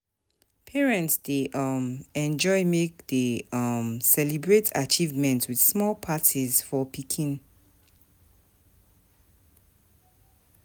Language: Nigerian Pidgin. Parents dey um enjoy make dem um celebrate achievements with small parties for pikin.